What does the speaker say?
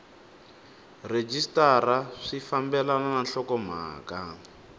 rhejisitara swi fambelena na nhlokomhaka